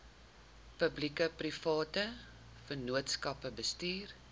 publiekeprivate vennootskappe bestuur